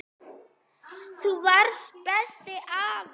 Þú varst besti afinn.